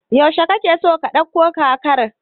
Yaushe kake so ka ɗauko kakar?